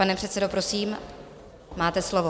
Pane předsedo, prosím, máte slovo.